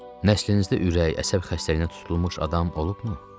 Nəslinizdə ürək, əsəb xəstəliyinə tutulmuş adam olubmu?